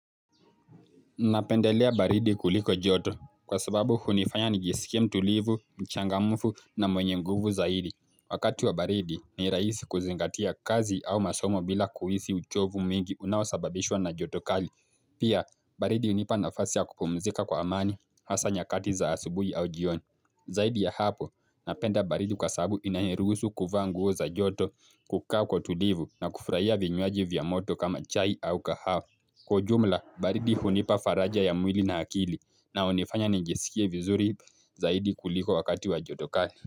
Napendelea baridi kuliko joto kwa sababu hunifanya nijisikie mtulivu, mchangamufu na mwenye nguvu zaidi. Wakati wa baridi ni rahisi kuzingatia kazi au masomo bila kuhisi uchovu mwingi unaosababishwa na joto kali. Pia baridi hunipa nafasi ya kupumzika kwa amani hasa nyakati za asubuhi au jioni. Zaidi ya hapo napenda baridi kwa sabu inaniruhusu kuvaa nguo za joto kukaa kwa utulivu na kufurahia vinywaji vya moto kama chai au kahawa. Kwa ujumla baridi hunipa faraja ya mwili na akili na hunifanya nijisikie vizuri zaidi kuliko wakati wa joto kali.